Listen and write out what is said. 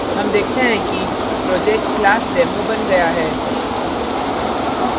हम देखते हैं कि project classdemo बन गया है